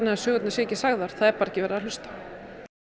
að sögurnar séu ekki sagðar það er bara ekki verið að hlusta